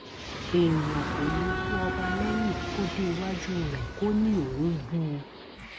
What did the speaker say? èèyàn kò ní í bú ọba lẹyìn kó dé iwájú rẹ kó ní òun bú u